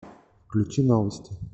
включи новости